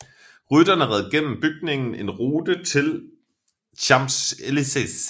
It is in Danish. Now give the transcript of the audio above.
Rytterne red gennem bygningen en route til Champs Élysées